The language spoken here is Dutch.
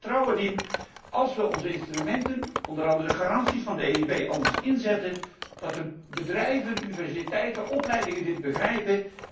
En ik heb er vertrouwen in dat als we onze instrumenten, onder andere garanties van de EIB, anders inzetten, de bedrijven, universiteiten, opleidingen dit begrijpen.